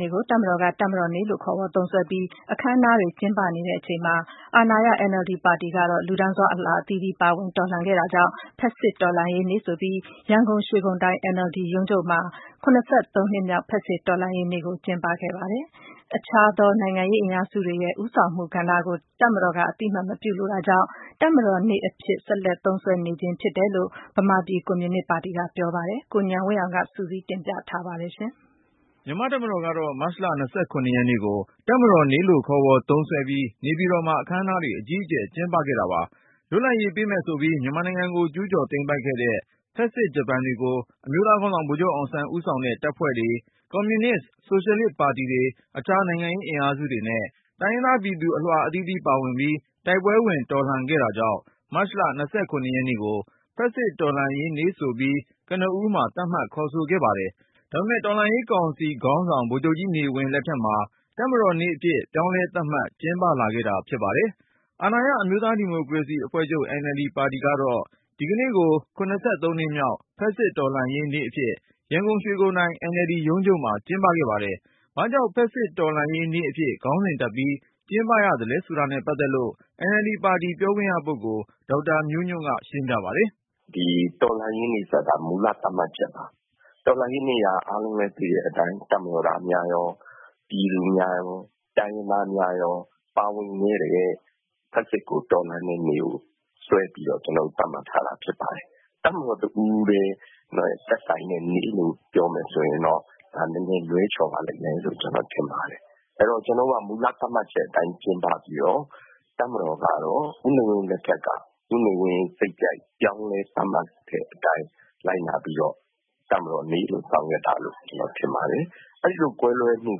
နေ့ကို တပ်မတော်က “တပ်မတော်နေ့”လို့ခေါ်ဝေါ်သုံးစွဲပြီး အခမ်းအနားတွေ ကျင်းပနေချိန်မှာ အာဏာရ NLD ပါတီကတော့ လူတန်းစား အလွှာအသီးသီးပါဝင် တော်လှန်ခဲ့တာကြောင့် “ဖက်ဆစ်တော်လှန်ရေးနေ့” ဆိုပြီး ရန်ကုန် ရွှေဂုံတိုင် NLD ရုံးချုပ်မှာ (၇၃)နှစ်မြောက် ဖက်ဆစ်တော်လှန်းရေးနေ့ကို ဒီကနေ့ ကျင်းပခဲ့ပါတယ်။ အခြားသော နိုင်ငံရေးအင်အားစုတွေရဲ့ ဦးဆောင်မှုကဏ္ဍကို တပ်မတော်က အသိအမှတ် မပြုလိုတာကြောင့် “တပ်မတော်နေ့”အဖြစ် ဆက်လက်သုံးစွဲနေခြင်း ဖြစ်တယ်လို့ ဗမာပြည်ကွန်မြူနစ်ပါတီက ပြောပါတယ်။ ကိုဉာဏ်ဝင်းအောင်က စုစည်းတင်ပြ ထားပါတယ်။ မြန်မာ့တပ်မတော်ကတော့ မတ်လ(၂၇)ရက်ကို “တပ်မတော်နေ့”လို့ ခေါ်ဝေါ်သုံးစွဲပြီး နေပြည်တော်မှာ အခမ်းအနားတွေ အကြီးအကျယ် ကျင်းပခဲ့တာပါ။ လွတ်လပ်ရေးပေးမယ်ဆိုပြီး မြန်မာနိုင်ငံကို ကျူးကျော်သိမ်းပိုက်ခဲ့တဲ့ ဖက်ဆစ်ဂျပန်တွေကို အမျိုးသားခေါင်းဆောင် ဗိုလ်ချုပ်အောင်ဆန်း ဦးဆောင်တဲ့ တပ်ဖွဲ့တွေ၊ ကွန်မြူနစ်- ဆိုရှယ်လစ်ပါတီတွေ၊ အခြား နိုင်ငံရေးအင်အားစုတွေနဲ့ တိုင်းရင်းသားပြည်သူ အလွှာအသီးသီး ပါဝင်ပြီး တိုက်ပွဲဝင် တော်လှန်ခဲ့တာကြောင့် မတ်လ(၂၇)ရက်နေ့ကို “ဖက်ဆစ်တော်လှန်ရေးနေ့” ဆိုပြီး ကနဦးမှာ သတ်မှတ်ခေါ်ဆိုခဲ့ပါတယ်။ ဒါပေမဲ့ တော်လှန်ရေးကောင်စီခေါင်းဆောင် ဗိုလ်ချုပ်ကြီးနေဝင်း လက်ထက်မှာ တပ်မတော်နေ့အဖြစ် ပြောင်းလဲသတ်မှတ် ကျင်းပလာခဲ့တာဖြစ် ပါတယ်။ အာဏာရ အမျိုးသားဒီမိုကရေစီအဖွဲ့ချုပ် NLD ပါတီကတော့ ဒီကနေ့ကို (၇၃)နှစ်မြောက် “ဖက်ဆစ်တော်လှန်ရေးနေ့” အဖြစ် ရန်ကုန် ရွှေဂုံတိုင် NLD ရုံးချုပ်မှာ ကျင်းပခဲ့ပါတယ်။ ဘာကြောင့်ဖက်ဆစ်တော်လှန်ရေးနေ့အဖြစ် ခေါင်းစဉ်တပ်ပြီး ကျင်းပရသလဲ ဆိုတာနဲ့ ပတ်သက်လို့ NLD ပါတီ ပြောခွင့်ရပုဂ္ဂိုလ် ဒေါက်တာမျိုးညွန့်က ရှင်းပြပါတယ်။ "တော်လှန်ရေးနေ့ဆိုတာက မူလသတ်မှတ်ချက်ပါ။ တော်လှန်ရေးက အားလုံးလည်း သိတဲ့အတိုင်း တပ်မတော်သားများရော ပြည်သူ၊ တိုင်းရင်းသားများရော ပါဝင်တဲ့ ဖက်ဆစ်တော်လှန်တဲ့နေ့ကို စွဲပြီးတော့ သတ်မှတ်ထားတာဖြစ်ပါတယ်။ တပ်မတော်တဦးထဲ သက်ဆိုင်တဲ့နေ့လို့ ပြောမယ်ဆိုရင်တော့ ဒါနည်းနည်း လွဲချော်ပါလိမ့်မယ်လို့ ကျနော်ထင်တယ်။ ကျနော်တို့က မူလသတ်မှတ်ချက်အတိုင်း ကျင်းပပြီးတော့ တပ်မတော်ကတော့ ဦးနေဝင်းလက်ထက်က ဦးနေဝင်းစိတ်ကြိုက်ပြောင်းလဲသတ်မှတ်တဲ့အတိုင်း လိုက်နာပြီးတော့ တပ်မတော်နေ့လို့ ဆောင်ရွက်တာလို့ ကျနော်ထင်ပါတယ်။ အဲဒီလို ကွဲလွဲမှု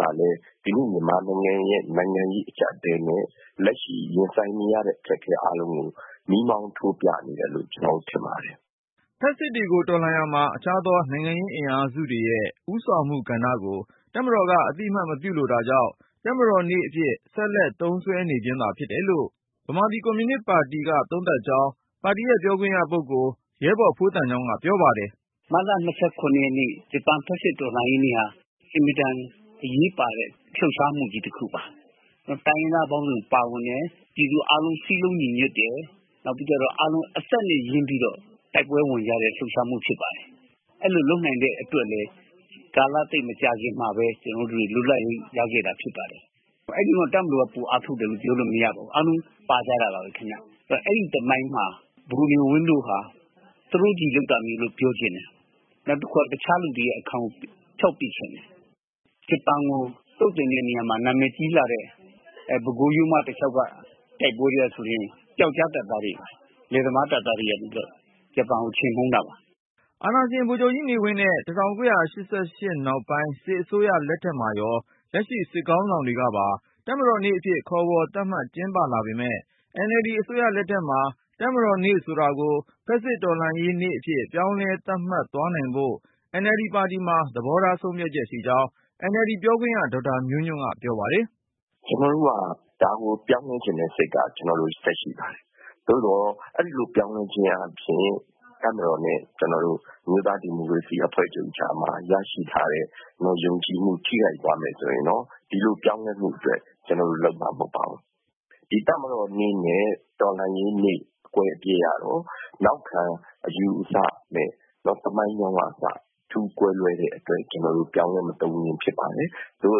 ကလည်း ဒီကနေ့ မြန်မာနိုင်ငံရဲ့ နိုင်ငံရေးအကျပ်အတည်းနဲ့ လက်ရှိရင်ဆိုင်နေရတဲ့ အခက်အခဲတွေကို မီးမောင်းထိုးပြနေတယ်လို့ ကျနေ်ာထင်ပါတယ်။" ဖက်ဆစ်တွေကို တော်လှန်ရာမှာ အခြားသော နိုင်ငံရေးအင်အားစုတွေရဲ့ ဦးဆောင်မှုကဏ္ဍကို တပ်မတော်က အသိအမှတ်မပြုလိုတာကြောင့် “တပ်မတော်နေ့”အဖြစ် ဆက်လက်သုံးစွဲနေခြင်းသာ ဖြစ်တယ်လို့ ဗမာပြည်ကွန်မြူနစ်ပါတီက သုံးသပ်ကြောင်း ပါတီရဲ့ပြောခွင့်ရ ရဲဘော် ဖိုးသံချောင်းက ပြောပါတယ်။ "မတ်လ ၂၇ ရက်နေ့ ဂျပန် ဖက်စစ်တော်လှန်ရေးနေ့ဟာ အင်မတန်အရေးပါတဲ့ လှုပ်ရှားမှုတခုပါ တိုင်းရင်းသားပေါင်းစုံပါဝင်တယ်၊ ပြည်သူအားလုံး စည်းလုံးညီညွတ်တယ်။ နောက်ပြီးတော့ အသက်နဲ့ ရင်းပြီးတော့ တိုက်ပွဲဝင်ကြတဲ့ လှုပ်ရှားမှု ဖြစ်ပါတယ်။ အဲလိုလုပ်နိုင်တဲ့အတွက်လည်း မကြာခင်မှာပဲ ကျနော်တို့ လွတ်လပ်ရေးရခဲ့တာဖြစ်ပါတယ်။ တပ်မတော်က ပိုအားထုတ်တယ်လို့ ပြောလို့မရဘူး အားလုံးပါကြတာပါပဲ။ ဆိုတော့ အဲဒီသမိုင်းမှာ ဗိုလ်နေဝင်းတို့ဟာ သူတို့ပဲလုပ်တာလို့ ပြောချင်တယ်။ နောက်ပြီးတော့ တခြားလူတွေရဲ့ အခန်းကို ဖျောက်ချင်တယ်။ ဂျပန်ကို သုတ်သင်တဲ့နေရာမှာ နာမည်ကြီးလာတဲ့ ပဲခူးရိုးမတလျောက်က တိုက်ပွဲတွေ ဆိုရင် လယ်သမားတပ်သားတွေက ဂျပန်ကို ချေမှုန်းတာပါ။ " အာဏာရှင် ဗိုလ်ချုပ်ကြီးနေဝင်းနဲ့ ၁၉၈၈ နောက်ပိုင်း စစ်အစိုးရလက်ထက်မှာရော လက်ရှိ စစ်ခေါင်းတွေကပါ တပ်မတော်နေ့အဖြစ် ခေါ်ဝေါ် သတ်မှတ် ကျင်းပလာပေမယ့် NLD အစိုးရလက်ထက်မှာ တပ်မတော်နေ့ဆိုတာကို ဖက်ဆစ်တော်လှန်ရေးနေ့အဖြစ် ပြောင်းလဲသတ်မှတ် သွားနိုင်ဖို့ NLD ပါတီမှာ သဘောထားဆုံးဖြတ်ချက် ရှိကြောင်း NLD ပြောခွင့်ရ ဒေါက်တာမျိုးညွန့်က ပြောပါတယ်။ "ကျေနာ်တို့က ဒါကိုပြောင်းလဲချင်တဲ့ စိတ်ကတော့ ရှိပါတယ်။ သို့သော် အဲဒါကို ပြောင်းလဲခြင်းအားဖြင့် တပ်မတော်နဲ့ အမျိုးသားဒီမိုကရေစီအဖွဲ့ချုပ်ကြားမှာ ရရှိထားတဲ့ ယုံကြည်မှုထိခိုက်သွားမယ်ဆိုရင်တော့ ဒီလိုပြောင်းလဲဖို့အတွက် ကျနေ်ာတို့ လုပ်မှာတော့မဟုတ်ပါဘူး။ တပ်မတော်နေ့နဲ့ တော်လှန်ရေးနေ့ အကွဲအပြဲကတော့ နောက်ခံအယူအဆနဲ့ သမိုင်းကြောင်းကအစ အထူးကွဲလွဲတဲ့အတွက် ကျနော်တို့ ပြောင်းလဲမသုံးချင်းဖြစ်ပါတယ်။ သို့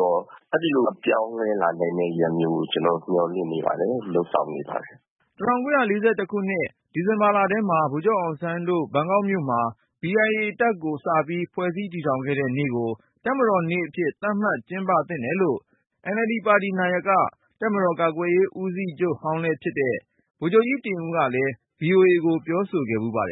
သော် အဲလိုမျိုး အပြောင်းအလဲဖြစ်လာနိုင်တဲ့ ရက်မျိုးကို ကျနော်တို့ မျှော်လင့်နေပါတယ်။ လုပ်ဆောင်နေပါတယ်။" ၁၉၄၁ ခုနှစ်၊ ဒီဇင်ဘာလထဲမှာ ဗိုလ်ချုပ်အောင်ဆန်းတို့ ဘန်ကောက်မြို့မှာ B.I.A. တပ်ကိုစပြီး ဖွဲ့စည်းတည်ထောင်ခဲ့တဲ့နေ့ကို တပ်မတော်နေ့ အဖြစ် သတ်မှတ်ကျင်းပသင့်တယ်လို့ NLD ပါတီနာယက တပ်မတော် ကာကွယ်ရေးဦးစီးချုပ်ဟောင်းလဲဖြစ်တဲ့ ဗိုလ်ချုပ်ကြီး တင်ဦးကလည်း VOA ကို ပြောဆိုခဲ့ဖူးပါတယ်